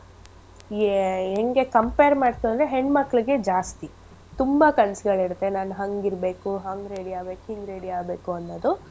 ಏ ಹೆಂಗೆ compare ಮಾಡ್ತು ಅಂದ್ರೆ ಹೆಣ್ ಮಕ್ಳಿಗೆ ಜಾಸ್ತಿ. ತುಂಬಾ ಕನ್ಸ್ಗಳಿರತ್ತೆ ನಾನ್ ಹಂಗ್ ಇರ್ಬೇಕು ಹಂಗ್ ready ಆಗ್ಬೇಕು ಹಿಂಗ್ ready ಆಗ್ಬೇಕು ಅನ್ನೋದು.